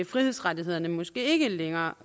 frihedsrettighederne måske ikke længere